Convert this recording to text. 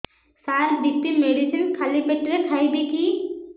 ସାର BP medicine ଖାଲି ପେଟରେ ଖାଇବି କି